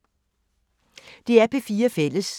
DR P4 Fælles